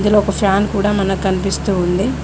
ఇందులో ఒక ఫ్యాన్ కూడా మనకనిపిస్తూ ఉంది.